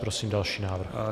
Prosím další návrh.